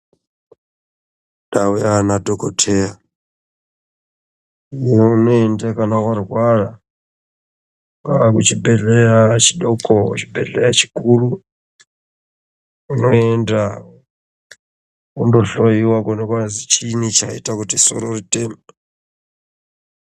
Ndau Yana dhokodheya ndoyaunoenda kana warwara kana chibhedhlera chidoko chibhedhlera chikuru unoenda wondohloiwa chini chaita soro riteme.